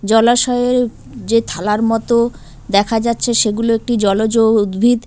জলাশয়ের যে থালার মতো দেখা যাচ্ছে সেগুলো একটি জলজ উদ্ভিদ।